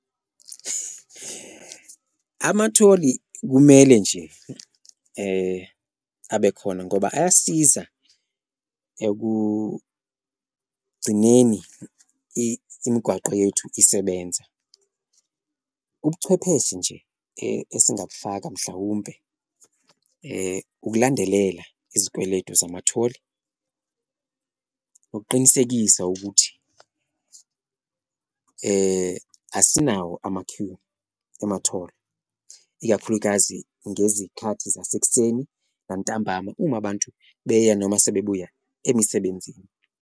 Angatholi kumele nje abe khona ngoba ayasiza ekugcineni imigwaqo yethu isebenza, ubuchwepheshe nje esingabufaka mhlawumpe ukulandelela izikweletu zamatholi ukuqinisekisa ukuthi asinawo ama-Q ematholi. Ikakhulukazi ngezikhathi zasekuseni nantambama uma abantu beya noma sebebuya emisebenzini.